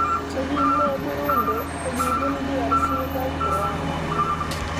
Chekimwee Burundi kokipun DRC koit Rwanda